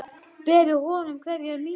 Berðu honum kveðju mína.